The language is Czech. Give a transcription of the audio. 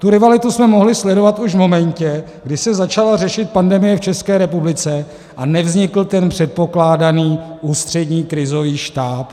Tu rivalitu jsme mohli sledovat už v momentě, kdy se začala řešit pandemie v České republice a nevznikl ten předpokládaný Ústřední krizový štáb.